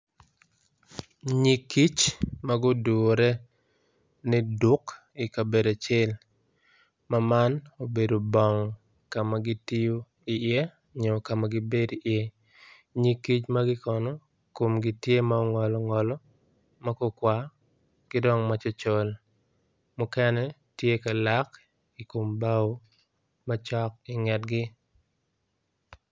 Ngig kic magudure ni duk ikabedo acel ma man obedo bong kama gitiyo i ye nyo kama gibedo i ye ngig kic magi kono komgi gitye ma gungwalo ngwalo kidong ma cocol mukene gitye ka lak macok i ngetgi.